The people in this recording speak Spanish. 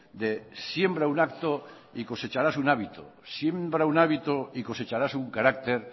de siembra un acto y cosecharas un hábito siembra un hábito y cosecharás un carácter